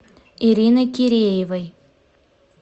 ириной киреевой